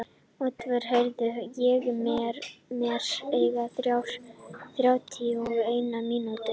Oddvar, heyrðu í mér eftir þrjátíu og eina mínútur.